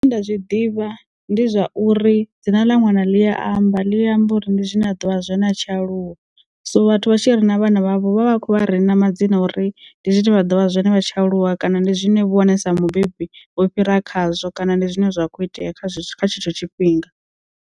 Zwine nda zwi ḓivha ndi zwa uri dzina ḽa ṅwana ḽi ya amba ḽi amba uri ndi zwine a ḓovha zwine a tshi aluwa so vhathu vha tshi rina vhana vhavho vha vha kho vha rina madzina uri ndi zwine vha ḓo vha zwone vha tshi aluwa kana ndi zwine vhone sa mubebi vho fhira khazwo kana ndi zwine zwa kho itea kha kha tshetsho tshifhinga.